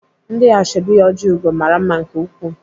Ndị ashọbị Ojiugo mara mma nke ukwuu.